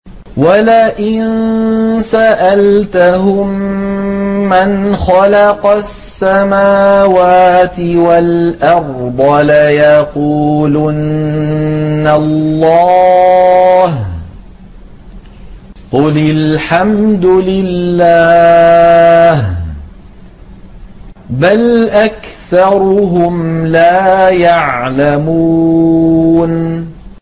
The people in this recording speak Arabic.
وَلَئِن سَأَلْتَهُم مَّنْ خَلَقَ السَّمَاوَاتِ وَالْأَرْضَ لَيَقُولُنَّ اللَّهُ ۚ قُلِ الْحَمْدُ لِلَّهِ ۚ بَلْ أَكْثَرُهُمْ لَا يَعْلَمُونَ